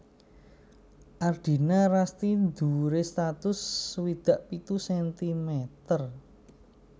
Ardina Rasti dhuwuré satus swidak pitu sentimeter